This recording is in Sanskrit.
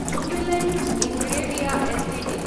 Jubilant Ingrevia Ltd